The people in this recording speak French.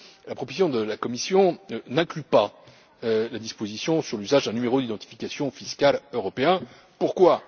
La proposition de la Commission n'inclut pas de disposition sur l'usage d'un numéro d'identification fiscal européen. Pourquoi?